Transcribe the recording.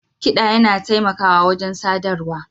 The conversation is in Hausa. Kiɗa yana taimakawa wajen sadarwa